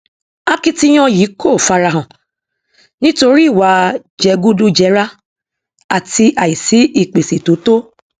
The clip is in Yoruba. akitiyan yìí kò farahan nítorí ìwà jẹgúdújẹrá àti àìsí ìpèsè tó tó